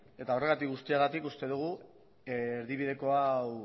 eta horregatik guztiagatik uste dugu erdibideko hau